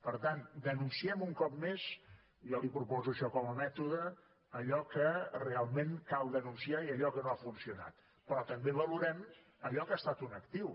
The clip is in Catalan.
per tant denunciem un cop més jo li proposo això com a mètode allò que realment cal denunciar i allò que no ha funcionat però també valorem allò que ha estat un actiu